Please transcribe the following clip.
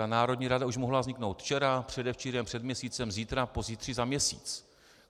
Ta národní rada už mohla vzniknout včera, předevčírem, před měsícem, zítra, pozítří, za měsíc.